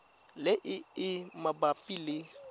le e e mabapi le